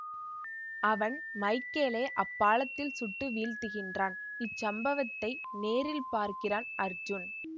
அவன் மைக்கேலை அப்பாலத்தில் சுட்டு வீழ்த்துகின்றான் இச்சம்பவத்தை நேரில் பார்க்கிறான் அர்ஜூன்